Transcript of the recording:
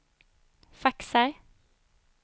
faxar